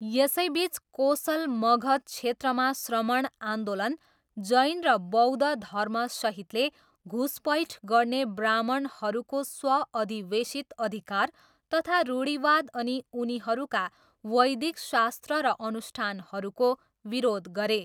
यसैबिच कोसल मगध क्षेत्रमा श्रमण आन्दोलन, जैन र बौद्ध धर्मसहितले घुसपैठ गर्ने ब्राह्मणहरूको स्व अधिवेशित अधिकार तथा रूढिवाद अनि उनीहरूका वैदिक शास्त्र र अनुष्ठानहरूको विरोध गरे।